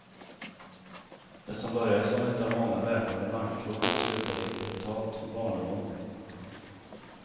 Det som började som ett av många väpnade bankrån slutade i ett brutalt barnamord.